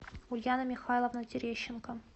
ульяна михайловна терещенко